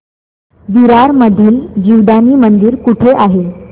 विरार मधील जीवदानी मंदिर कुठे आहे